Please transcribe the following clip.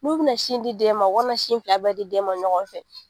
N'u bina sin di den u kana sin filɛ bɛɛ di den ma ɲɔgɔn fɛ.